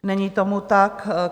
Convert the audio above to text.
Není tomu tak.